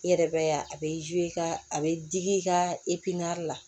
I yɛrɛ bɛ ya a bɛ i ka a bɛ digi i ka la